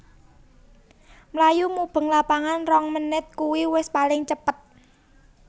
Mlayu mubeng lapangan rong menit kui wis paling cepet